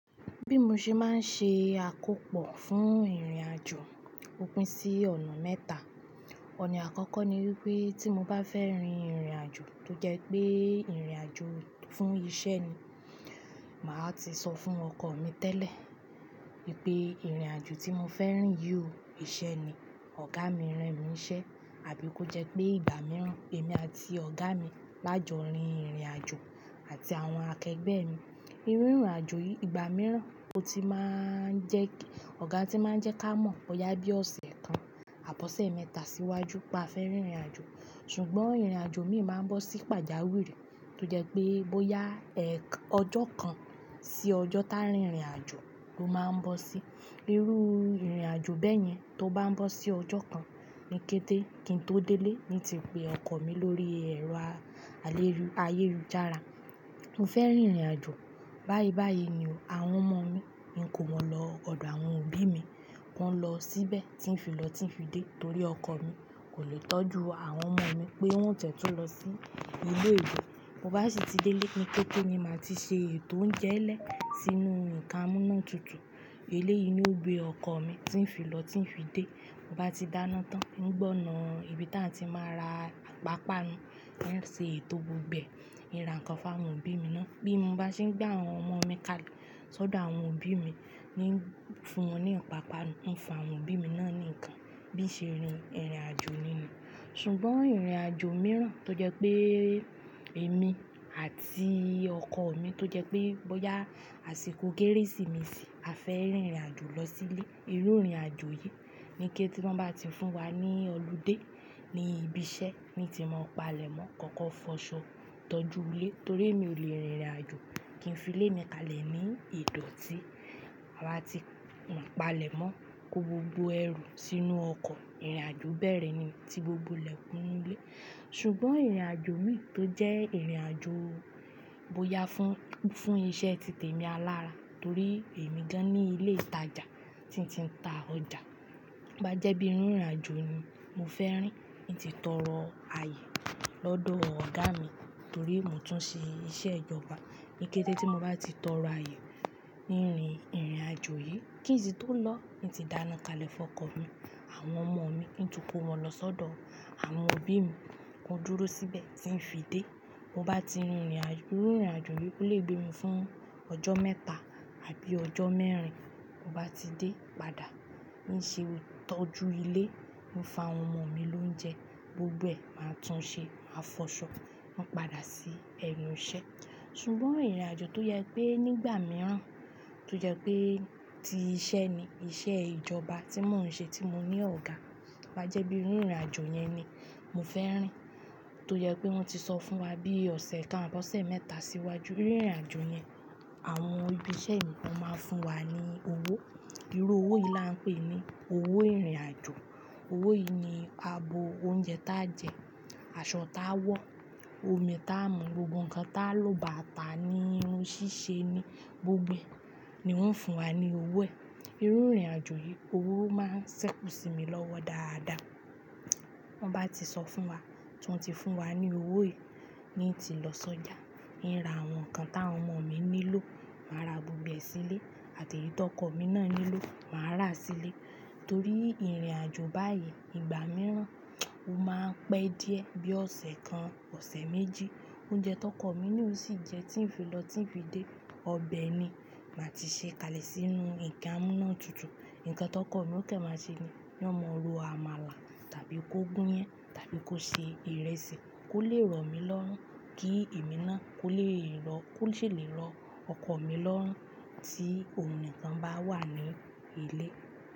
Bí mo ṣe máa ń ṣe àkópọ̀ fún ìrìnàjò, ó pín sí ọ̀nà mẹ́ta. Ọ̀nà àkọ́kọ́ ni wípé tí mo bá fẹ́ rin ìrìnàjò tó jẹ́ pé ìrìnàjò fún iṣẹ́ ni, màá ti sọ fún ọkọ mi tẹ́lẹ̀ wípé ìrìnàjò tí mo fẹ́ rìn yí ò ìṣe ni. Ọ̀gá mi rán mi ṣẹ́ àbí kó jẹ́ pé ìgbà mìíràn èmi àti ọ̀gá mi lájọ rin ìrìnàjò àti àwọn akẹgbẹ́ mi. Irú ìrìnàjò yìí ìgbà mìíràn ó ti máa ń jẹ́ pé ọ̀gá ti máa ń jẹ́ ká mọ̀ ó yá bí ọ̀sẹ̀ kan àbọ̀ṣẹ́ mẹ́ta síwájú tí a fẹ́ rin ìrìnàjò. Ṣùgbọ́n ìrìnàjò mi máa ń bọ́ sí pàjáwìrì tó jẹ́ pé bóyá ẹ́ ọjọ́ kan sí ọjọ́ táa rin ìrìnàjò ló máa ń bọ́ sí. Irú ìrìnàjò bẹ́ẹ̀ yẹn tó bá ń bọ́ sí ọjọ́ kan ní kété kí n tó délé ní ti pe ọkọ mi lórí ẹ̀rọ alérù ayélujára. Mo fẹ́ rin ìrìnàjò báyìí báyìí ni o, àwọn ọmọ mi ní kó wọn lọ ọ̀dọ̀ àwọn òbí mi kó lọ síbẹ̀ tí ń fi lọ tí ń fi dé torí ọkọ mi kò le tọ́jú àwọn ọmọ mi pé wọ́n jẹ tó lọ sí ile iwe. Mo bá sì ti délé ní kété ni màá ti ṣe ètò oúnjẹ ẹlẹ́ sínú ìka múnà tuntun. Ilé yìí ni ó gbé ọkọ mi tí ń fi lọ tí ń fi dé. Ta bá ti dáná tán, mo gbọ̀nà ibi táa ti máa ra àpápa nu ní ń ṣe ètò gbogbo ẹ. Mi rà nǹkan fún àwọn òbí mi ná. Bí mo bá ṣe ń gbé àwọn ọmọ mi kalẹ̀ lọ́dọ̀ àwọn òbí mi, ní fun wọn ní àpápa nu, mo ń fún àwọn òbí mi ná ní nǹkan bí ìṣe rin ìrìnàjò ni. Ṣùgbọ́n ìrìnàjò mìíràn tó jẹ́ pé èmi àti ọkọ mi tó jẹ́ pé bóyá àsìkò kérésìmesì a fẹ́ rin ìrìnàjò lọ sí ilé. Irú ìrìnàjò yìí ní kété wọn bá ti fún wa ní ọludé ní ibi iṣẹ́ ni ti máa pa lẹ̀ mọ́. Kọ̀ọ̀kan fọṣọ tọ́jú ilé torí mi ò le rin ìrìnàjò kí n fi ilé mi kalẹ̀ ní ìdọ̀tí. A máa ti pàlẹ̀ mọ́ kó gbogbo ẹrù sínú ọkọ̀. Ìrìnàjò bẹ́ẹ̀rẹ́ ni tí gbogbo ilẹ̀kùn inú ilé. Ṣùgbọ́n ìrìnàjò mi tó jẹ́ ìrìnàjò bóyá fún, fún iṣẹ́ ti tèmi alára torí èmi gan-an ní ilé ìtajà tí n tí ń ta ọjà. Bá jẹ́ bí irú ìrìnàjò ni mo fẹ́ rìn, mi ti tọrọ àyè lọ́dọ̀ ọ̀gá mi torí mò ń tún ṣe iṣẹ́ ìjọba. Níkẹ́tẹ́ tí mo bá ti tọrọ àyè ní irú ìrìnàjò yìí, kí n sì tó lọ ni ti dáná kalẹ̀ fún ọkọ mi àwọn ọmọ mi kí n tún kó wọn lọ sódò àwọn òbí mi kó dúró síbẹ̀ tí ń fi dé. Mo bá ti rin ìrìnàjò, irú ìrìnàjò yìí kó lè gbé mi fún ọjọ́ mẹ́ta àbí ọjọ́ mẹ́rin. Mo bá ti dé padà ní ń ṣe tọ́jú ilé, mo ń fa àwọn ọmọ mi oúnjẹ gbogbo ẹ máa tún ṣe máa fọṣọ máa padà sí ẹnu iṣẹ́. Ṣùgbọ́n ìrìnàjò tó yẹ pé nígbà mìíràn tó jẹ́ pé tí iṣẹ́ ni, iṣẹ́ ìjọba tí mò ń ṣe tí mo ní ọ̀gá bá jẹ́ bí irú ìrìnàjò yẹn ni mo fẹ́ rìn tó jẹ́ pé wọ́n ti sọ fún wa bí ọ̀sẹ̀ kan àbọ̀ṣẹ́ mẹ́ta síwájú. Irú ìrìnàjò yẹn àwọn ibi iṣẹ́ nǹkan máa ń fún wa ní owó. Irú owó yìí là ń pè ní owó ìrìnàjò. Owó yìí ni a bo oúnjẹ táa jẹ, aṣọ táa wọ, omi táa mu, gbogbo nǹkan táa lò báta ní irun ṣíṣe ni gbogbo ni wọ́n ń fún wa ní owó ẹ̀. Irú ìrìnàjò yìí owó máa ń ṣẹ́kù sí mi lọ́wọ́ dáadáa. Wọ́n bá ti sọ fún wa tí wọ́n ti fún wa ní owó yìí ni ti lọ sọ́jà, mi rà àwọn nǹkan táwọn ọmọ mi nílò, màá ra gbogbo ẹ sílé àti èyí tó ọkọ mi ná nílò màá rà sílé. Torí ìrìnàjò báyìí ìgbà mìíràn ó máa ń pẹ́ díẹ̀ bí ọ̀sẹ̀ kan, ọ̀sẹ̀ méjì. Oúnjẹ tó ọkọ mi ni ò sì jẹ́ tí ń fi lọ tí ń fi dé. Ọbẹ̀ ni màá ti ṣe kalẹ̀ sínú nke amụ ninu tutu. Ǹkan tó ọkọ mi ó kẹ́ máa ṣe ni ní ó máa lọ amala tàbí kó gún yẹn tàbí kó ṣe ìrẹsì kó lè rọ̀ mí lọ́rùn. Kí èmi ná kó lè lọ kó sì lè lọ ọkọ mi lọ́rùn tí ohun nǹkan bá wà ní ilé.